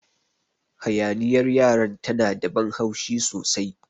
Hayaniyar yaran ta na da ban haushi sosai.